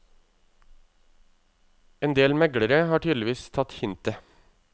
En del meglere har tydeligvis tatt hintet.